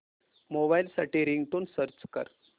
mobile साठी ringtone search कर